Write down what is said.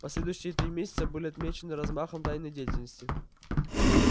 последующие три месяца были отмечены размахом тайной деятельности